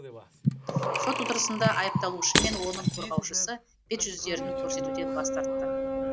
сот отырысында айыпталушы мен оның қорғаушысы бет жүздерін көрсетуден бас тартты